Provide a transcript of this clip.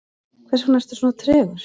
hversvegna ertu svona tregur